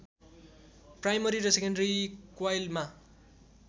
primary र secondary क्वाइलमा